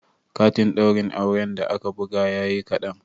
Katin ɗaurin auren da aka buga yayi kaɗan